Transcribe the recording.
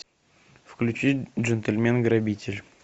включи джентльмен грабитель